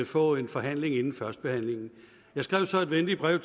få en forhandling inden førstebehandlingen jeg skrev så et venligt brev